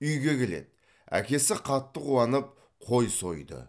үйге келеді әкесі қатты қуанып қой сойды